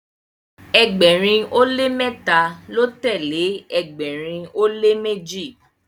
ẹgbẹrin o le mẹta lọ tẹle ẹgbẹrin o le meji